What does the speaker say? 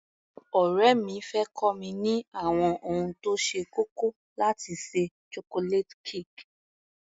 Ọ̀rẹ́ mi fẹ́ kọ́ mi ní àwọn ohun tó ṣe kókó láti ṣe Chocolate cake.